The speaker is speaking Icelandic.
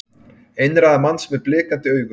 Einræða manns með blikandi augu